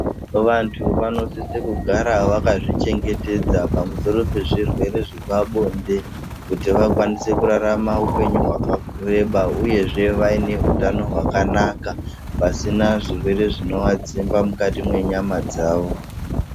Vantu vanosisa kugara vakadzichengetedza pamusoro pezvirwere zvepabonde kuti vakwanise kurarama upenyu hwakareba uyezve vaine utano hwakanaka pasina zvirwere zvinovadzimba mukati mwenyama dzavo.